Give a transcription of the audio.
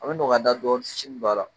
An bi nɔgɔya da dɔɔnin firinin b'a la